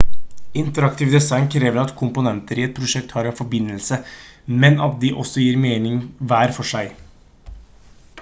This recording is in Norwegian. interaktivt design krever at komponenter i et prosjekt har en forbindelse men at de også gir mening hver for seg